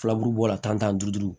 Filaburu bɔla tan ni duuru